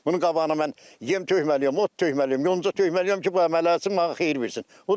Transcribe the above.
Bunun qabağına mən yem tökməliyəm, ot tökməliyəm, yonca tökməliyəm ki, bu əmələ gəlsin, mənə xeyir versin.